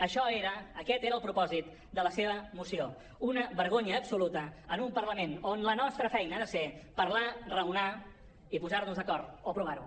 això era aquest era el propòsit de la seva moció una vergonya absoluta en un parlament on la nostra feina ha de ser parlar raonar i posar nos d’acord o provar ho